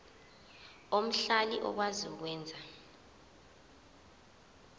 omhlali okwazi ukwenza